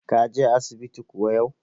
Ka je asibiti kuwa yau?